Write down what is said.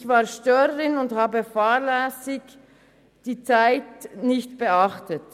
Ich war Störerin und habe fahrlässig die Zeit nicht beachtet.